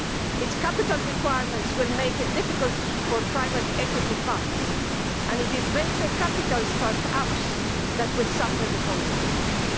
Its capital requirements will make it difficult for private equity funds, and it is venture capital start ups that will suffer the consequences.